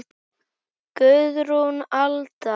Guðrún Alda.